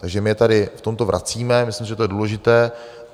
Takže my je tady v tomto vracíme, myslím, že je to důležité.